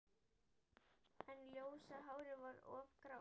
En ljósa hárið var orðið grátt.